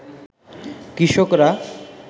কৃষকরা